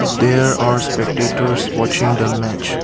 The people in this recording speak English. there are spectators watching the match.